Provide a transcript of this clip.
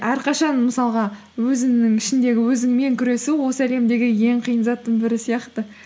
әрқашан мысалға өзіңнің ішіңдегі өзіңмен күресу осы әлемдегі ең қиын заттың бірі сияқты